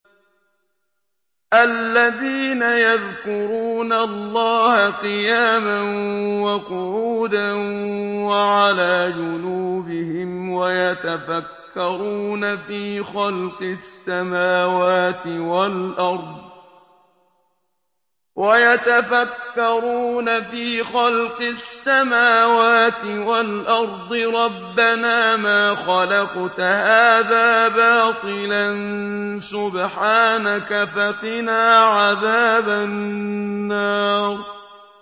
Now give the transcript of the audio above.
الَّذِينَ يَذْكُرُونَ اللَّهَ قِيَامًا وَقُعُودًا وَعَلَىٰ جُنُوبِهِمْ وَيَتَفَكَّرُونَ فِي خَلْقِ السَّمَاوَاتِ وَالْأَرْضِ رَبَّنَا مَا خَلَقْتَ هَٰذَا بَاطِلًا سُبْحَانَكَ فَقِنَا عَذَابَ النَّارِ